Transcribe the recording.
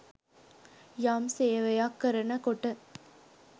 යම් සේවයක් කරනකොට